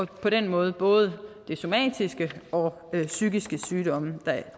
det på den måde er både somatiske og psykiske sygdomme